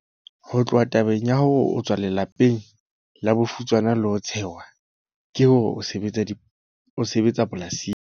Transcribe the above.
Ho tloha tabeng ya hore o tswa lela peng la bofutsana le ho tshehwa ka hore o sebetsa polasing,